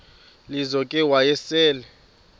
lizo ke wayesel